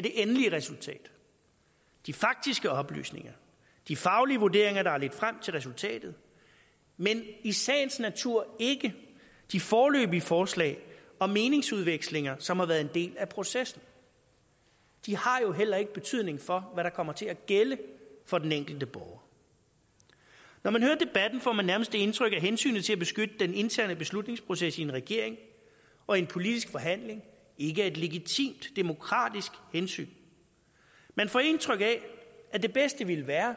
det endelige resultat de faktiske oplysninger de faglige vurderinger der har ledt frem til resultatet men i sagens natur ikke de foreløbige forslag og meningsudvekslinger som har været en del af processen de har jo heller ikke betydning for hvad der kommer til at gælde for den enkelte borger når man hører debatten får man nærmest det indtryk at hensynet til at beskytte den interne beslutningsproces i en regering og i en politisk forhandling ikke er et legitimt demokratisk hensyn man får indtryk af at det bedste ville være